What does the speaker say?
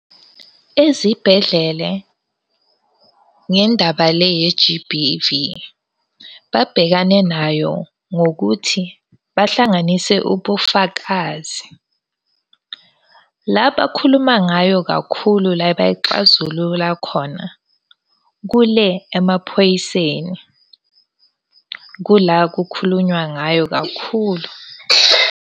Ezibhedlele ngendaba le ye-G_B_V, babhekane nayo ngokuthi bahlanganise ubufakazi. La bakhuluma ngayo kakhulu, la bayixazulula khona kule emaphoyiseni. Kula kukhulunywa ngayo kakhulu.